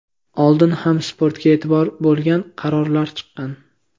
Oldin ham sportga e’tibor bo‘lgan, qarorlar chiqqan.